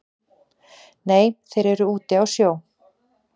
Nei þeir eru úti á sjó